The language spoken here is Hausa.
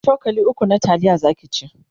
cokali ukwu na taliya Zaki ci